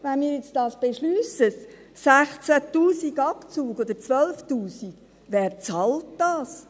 Wenn wir das jetzt beschliessen, 16 000 Franken oder 12 000 Franken Abzug – wer bezahlt das?